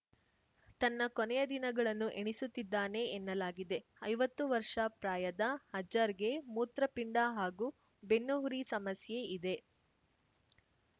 ತನ್ನ ಕೊನೆಯ ದಿನಗಳನ್ನು ಎಣಿಸುತ್ತಿದ್ದಾನೆ ಎನ್ನಲಾಗಿದೆ ಐವತ್ತು ವರ್ಷ ಪ್ರಾಯದ ಅಜರ್‌ಗೆ ಮೂತ್ರಪಿಂಡ ಹಾಗೂ ಬೆನ್ನುಹುರಿ ಸಮಸ್ಯೆ ಇದೆ